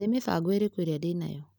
Nĩ mĩbango ĩrĩko ĩrĩa ndĩ nayo?